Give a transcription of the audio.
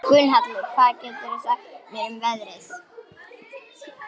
Gunnhallur, hvað geturðu sagt mér um veðrið?